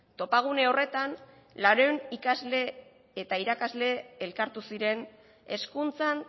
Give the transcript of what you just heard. topagune horretan laurehun ikasle eta irakasle elkartu ziren hezkuntzan